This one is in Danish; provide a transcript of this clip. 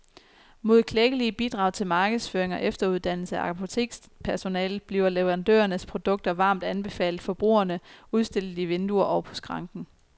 Mod klækkelige bidrag til markedsføring og efteruddannelse af apotekspersonalet bliver leverandørernes produkter varmt anbefalet forbrugerne, udstillet i vinduer og på skranken.